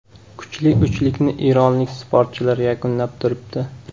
Kuchli uchlikni eronlik sportchilar yakunlab turibdi.